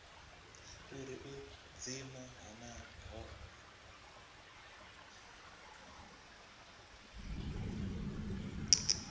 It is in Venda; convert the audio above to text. uri u dzima honoho hu